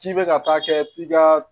K'i bɛ ka taa kɛ i ka